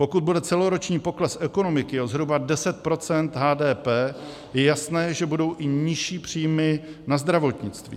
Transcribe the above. Pokud bude celoroční pokles ekonomiky o zhruba 10 % HDP, je jasné, že budou i nižší příjmy na zdravotnictví.